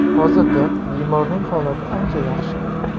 Hozirda bemorning holati ancha yaxshi.